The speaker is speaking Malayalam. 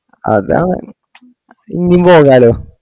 അതാണ് ഇന്യും പോകാലോ